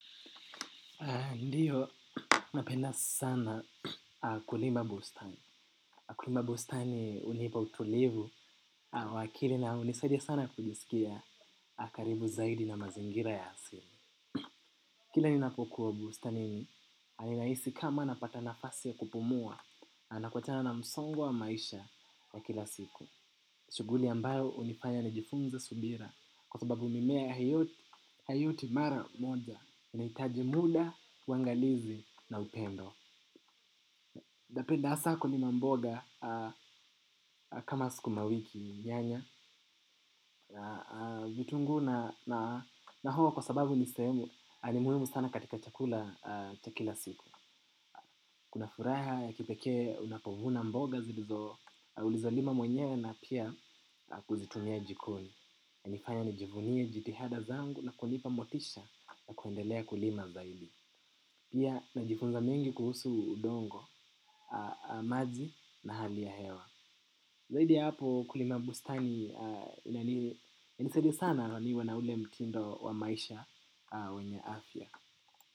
Ndiyo, napenda sana kulima. Bustani. Kulima bustani hunipa utulivu wa akili na hunisaidia sana kujisikia karibu zaidi na mazingira ya asili. Kila ninapokuwa bustani, ninahisi kama napata nafasi ya kupumua na naachana na msongo maisha wa kila siku. Shughuli ambayo hunifanya nijifunze subira kwa sababu mimea hiyo haikui mara moja. Inahitaji muda, uwangalizi na upendo. Napenda hasa kulima mboga kama sukuma wiki nyanya vitunguu na hoho kwa sababu ni muhimu sana katika chakula cha kila siku. Kuna furaha ya kipekee unapovuna mboga ulizolima mwenyewe na pia kuzitumia jikoni. Nifanye nijivunie jitihada zangu na kunipa motisha na kuendelea kulima zaidi. Pia najifunza mengi kuhusu udongo, maji na hali ya hewa. Zaidi ya hapo kulima bustani inanisaidia sana naniwe na ule mtindo wa maisha wenye afya.